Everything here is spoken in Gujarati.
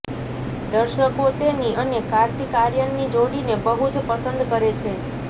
દર્શકો તેની અને કાર્તિક આર્યનની જોડીને બહુજ પસંદ કરે છે